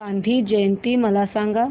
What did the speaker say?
गांधी जयंती मला सांग